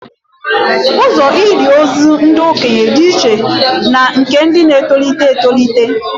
Ụzọ ili ozu ndị okenye dị iche na nke ndị na-etolite etolite